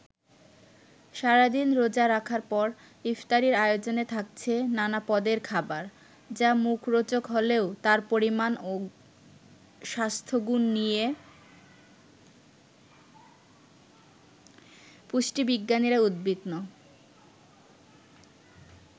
সারাদিন রোজা রাখার পর ইফতারির আয়োজনে থাকছে নানা পদের খাবার, যা মুখরোচক হলেও তার পরিমাণ ও স্বাস্থ্যগুণ নিয়ে পুষ্টিবিজ্ঞানীরা উদ্বিগ্ন।